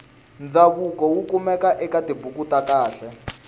ndzavuko wukumeka ekatibhuku takhale